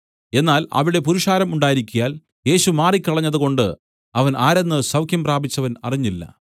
എന്നാൽ അവിടെ പുരുഷാരം ഉണ്ടായിരിക്കയാൽ യേശു മാറിക്കളഞ്ഞതുകൊണ്ടു അവൻ ആരെന്ന് സൌഖ്യം പ്രാപിച്ചവൻ അറിഞ്ഞില്ല